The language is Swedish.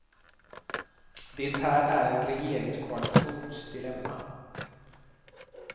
Det här är en regeringskoalitions dilemma.